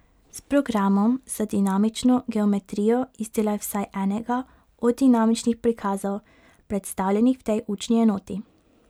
S programom za dinamično geometrijo izdelaj vsaj enega od dinamičnih prikazov, predstavljenih v tej učni enoti.